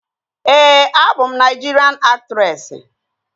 Ee, abụ m Naịjirian aktresị